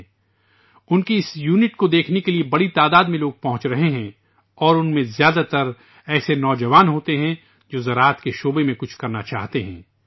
لوگوں کی بڑی تعداد ان کی اس یونٹ کو دیکھنے کے لیے پہنچ رہی ہے اور ان میں سے بیشتر ایسے نوجوان ہوتے ہیں جو زراعت کے شعبے میں کچھ کرنا چاہتے ہیں